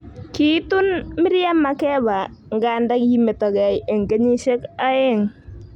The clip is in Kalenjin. Kiitun Miriam Makeba nganda kimetokei eng kenyishek oeng